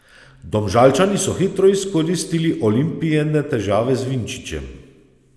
Domžalčani so hitro izkoristili Olimpijine težave z Vinčićem.